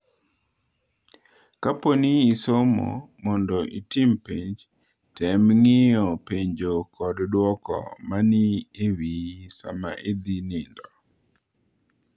Kapo ni isomo mondo itim penj, tem ng’iyo penjo kod dwoko ma ni e wiyi sama idhi nindo.